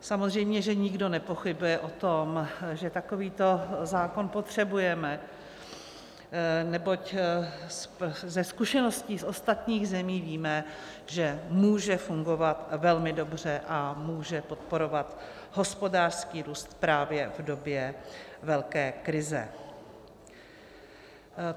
Samozřejmě že nikdo nepochybuje o tom, že takovýto zákon potřebujeme, neboť ze zkušeností z ostatních zemí víme, že může fungovat velmi dobře a může podporovat hospodářský růst právě v době velké krize.